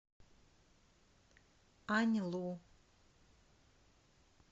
аньлу